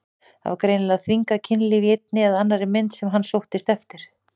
Það var greinilega þvingað kynlíf í einni eða annarri mynd sem hann sóttist eftir.